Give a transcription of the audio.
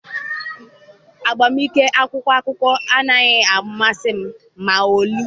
Agba nke akwụkwọ akụkọ anaghị amasị m ma ọlị.